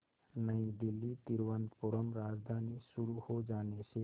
नई दिल्ली तिरुवनंतपुरम राजधानी शुरू हो जाने से